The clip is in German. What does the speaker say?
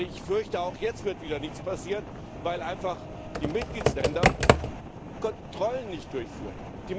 Ich fürchte, auch jetzt wird wieder nichts passieren, weil einfach die Mitgliedstaaten keine Kontrollen durchführen.